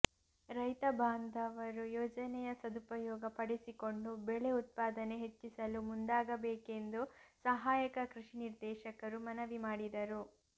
ರೈತ ಬಾಂಧವರು ಯೋಜನೆಯ ಸದುಪಯೋಗ ಪಡಿಸಿಕೊಂಡು ಬೆಳೆ ಉತ್ಪಾದನೆ ಹೆಚ್ಚಿಸಲು ಮುಂದಾಗಬೇಕೆಂದು ಸಹಾಯಕ ಕೃಷಿ ನಿರ್ದೇಶಕರು ಮನವಿ ಮಾಡಿದರು